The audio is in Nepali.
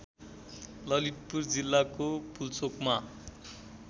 ललितपुर जिल्लाको पुल्चोकमा